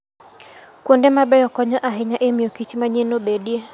Kuonde mabeyo konyo ahinya e miyokich manyien obedie.